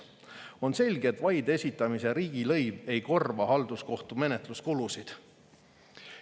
On selge, et vaide esitamise riigilõiv ei korva halduskohtu menetluskulusid.